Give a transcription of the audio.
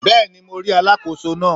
Bẹ́ẹ̀ni mo rí Alákóso náà